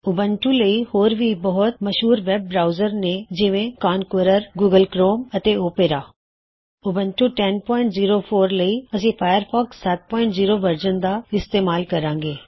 Ubuntu ਲਈ ਹੋਰ ਵੀ ਬਹੁਤ ਮਸ਼ਹੂਰ ਵੈਬ ਬਰਾਉਜ਼ਰ ਨੇ ਜਿਵੇ ਕੌੰਕਰਰ ਗੂਗਲ ਕਰੋਮ ਅਤੇ ਓਪੇਰਾ ਉਬੰਟੂ 1004 ਲਈ ਅਸੀ ਫਾਇਰਫੌਕਸ 70 ਵਰਜ਼ਨ ਦਾ ਇਸਤੇਮਾਲ ਕਰਾਂਗੇ